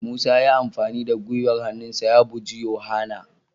Musa ya yi amfani da gwiwar hannunsa ya buji yohana.